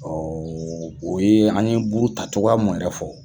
o ye an ye buruta cogoya mun yɛrɛ fɔ.